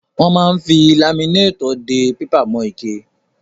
Wọ́n máa ń fi laminétọ̀ dé pépà mọ́ ike.